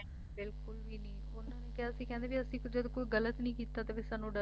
ਬਿਲਕੁਲ ਵੀ ਨਹੀਂ ਉਨ੍ਹਾਂ ਨੇ ਕਿਹਾ ਸੀ ਕਹਿੰਦੇ ਵੀ ਅਸੀਂ ਕਦੀ ਕੁਝ ਗਲਤ ਨਹੀਂ ਕੀਤਾ ਤਾਂ ਫੇਰ ਸਾਨੂੰ ਡਰਨ ਦੀ ਕੀ